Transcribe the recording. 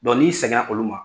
n'i sɛgɛn na olu ma